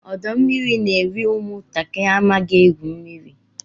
Ọdọ mmiri n'eri ụmụ ntakịrị amaghị egwu mmiri.